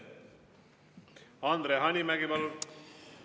Andre Hanimägi, palun!